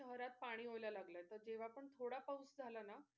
त्यात पाणी होयला लागल तर तेव्हा पण थोडा पाऊस झाला ना